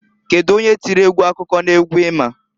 Kedu onye tiri egwu akụkọ n'egwu i ma?